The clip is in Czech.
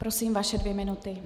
Prosím, vaše dvě minuty.